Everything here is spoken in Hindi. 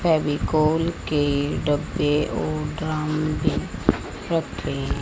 फेविकोल के डब्बे और ड्रम भी रखे--